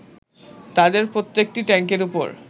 তাঁদের প্রত্যেকটি ট্যাংকের উপর